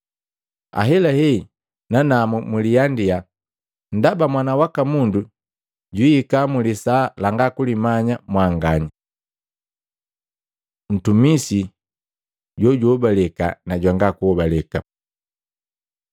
Ahelahe nanamu mliandia ndaba Mwana waka Mundu juihika mulisaa langa kulimanya mwanganya.” Ntumisi jojihobaleka na jwanga kuhobaleka Luka 12:41-48